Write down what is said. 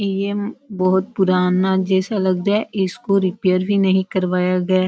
यह बहुत पुराना जैसे लगता है इसको रिपेयर भी नही करवाया गया --